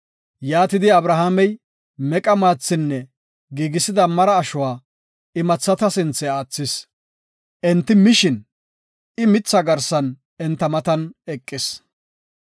Yaatidi Abrahaamey meqa maathinne giigisida mara ashuwa imathata sinthe aathis; enti mishin I mitha garsan enta matan eqis.